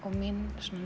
mín